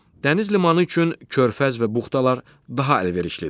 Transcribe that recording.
Dəniz limanı üçün körfəz və buxtalar daha əlverişlidir.